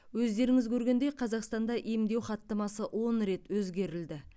өздеріңіз көргендей қазақстанда емдеу хаттамасы он рет өзгерілді